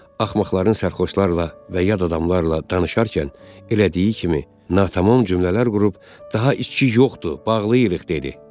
Axmaqların sərxoşlarla və yad adamlarla danışarkən elədiyi kimi natamam cümlələr qurub daha içki yoxdur, bağlayırıq dedi.